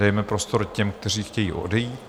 Dejme prostor těm, kteří chtějí odejít.